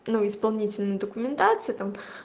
ну исполнительная документация там